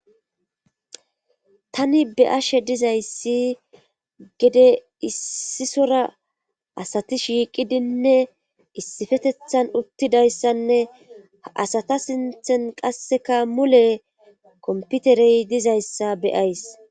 tani be7ashe dizayssi gede issisora asati shiiqidinne issifetethan uttidayssanne asata sinthen qasseka mule komputerey dizayssa beyays